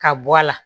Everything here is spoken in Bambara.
Ka bɔ a la